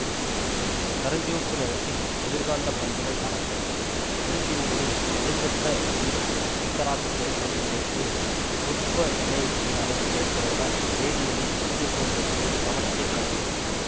கருஞ்சிவப்பு நிறத்தில் எதிர்காந்த பண்புடன் காணப்படும் ஒலிஃபின்களின் ஒழுங்கற்ற இரு ஐதராக்சிலேற்றம் வினைக்கு இவ்வுப்பு வினையூக்கியாகச் செயல்படுவதால் வேதியியலில் முக்கியத்துவம் பெற்று கவனத்தைக் கவர்கிறது